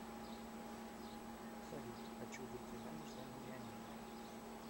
салют хочу выйти замуж за миллионера